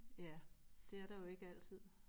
Ja det er der jo ikke altid